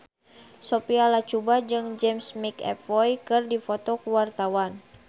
Sophia Latjuba jeung James McAvoy keur dipoto ku wartawan